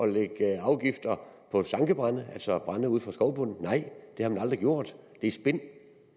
lægge afgifter på sankebrænde altså brænde ude fra skovbunden nej det har vi aldrig gjort det er spin